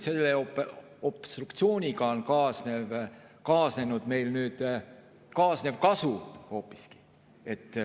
Obstruktsiooni tõttu on meil tekkinud hoopiski kaasnev kasu.